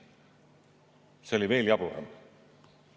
See oli veel jaburam.